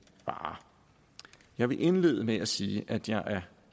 varer jeg vil indlede med at sige at jeg er